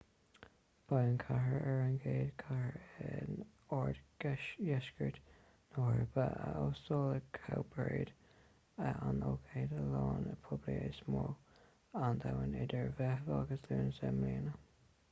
beidh an chathair ar an gcéad chathair in oirdheisceart na heorpa a óstálfaidh cowparade an ócáid ​​ealaíne poiblí is mó ar domhan idir meitheamh agus lúnasa i mbliana